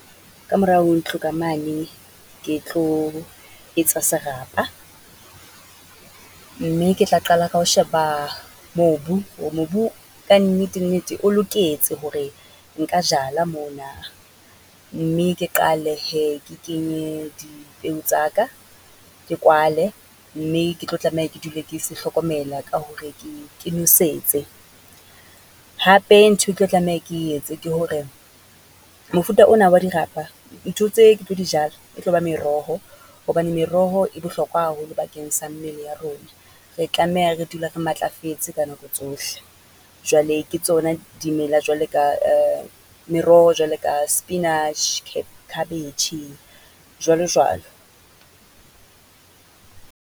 Ka morao ho ntlo ka mane, ke tlo etsa serapa. Mme ke tla qala ka ho sheba mobu hore mobu kannete-nnete o loketse hore nka jala mona, mme ke qale hee ke kenye dipeo tsa ka, ke kwale. Mme ke tlo tlameha ke dule ke se hlokomela ka hore ke ke nwesetse. Hape ntho ke tlo tlameha ke etse ke hore, mofuta ona wa dirapa, ntho tse ke tlo di jala, e tlo ba meroho hobane meroho e bohlokwa haholo bakeng sa mmele ya rona. Re tlameha re dula re matlafetse ka nako tsohle, jwale ke tsona dimela jwale ka meroho jwalo ka spinach, khabetjhe, jwalo jwalo.